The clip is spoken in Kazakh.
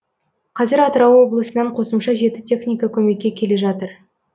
қазір атырау облысынан қосымша жеті техника көмекке келе жатыр